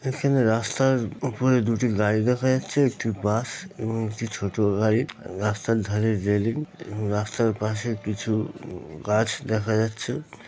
এখানে রাস্তার উপরে দুটি গাড়ি দেখা যাচ্ছে একটি বাস এবং একটি ছোট গাড়ি। রাস্তার ধারে রেলিং রাস্তার পাশে কিছু গু গাছ দেখা যাচ্ছে ।